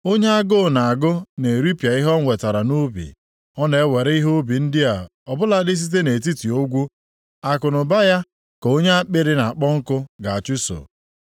Onye agụụ na-agụ na-eripịa ihe o wetara nʼubi; ọ na-ewere ihe ubi ndị a ọ bụladị site nʼetiti ogwu; akụnụba ya ka onye akpịrị na-akpọ nkụ ga-achụso.